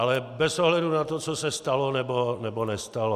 Ale bez ohledu na to, co se stalo nebo nestalo.